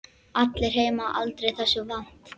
Allir heima aldrei þessu vant.